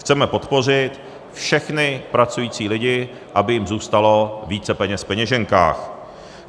Chceme podpořit všechny pracující lidi, aby jim zůstalo více peněz v peněženkách.